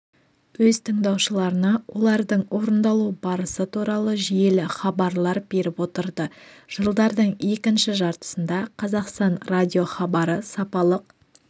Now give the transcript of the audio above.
өз тыңдаушыларына олардың орындалу барысы туралы жүйелі хабарлар беріп отырды жылдардың екінші жартысында қазақстан радиохабары сапалық